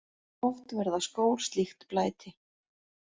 Oft verða skór slíkt blæti.